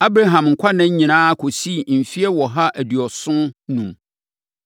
Abraham nkwanna nyinaa kɔsii mfeɛ ɔha aduɔson enum.